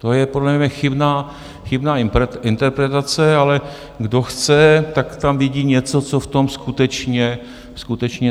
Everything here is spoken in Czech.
To je podle mě chybná interpretace, ale kdo chce, tak tam vidí něco, co v tom skutečně není.